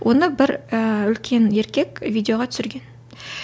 оны бір ііі үлкен еркек видеоға түсірген